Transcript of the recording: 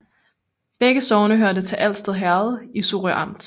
Begge sogne hørte til Alsted Herred i Sorø Amt